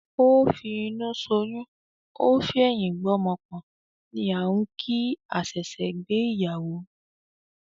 "Ó fi inú soyún, ó fi ẹ̀yin gbé ọmọ pọ̀n" ni á ń kìí àṣẹ ṣe gbé ìyàwó.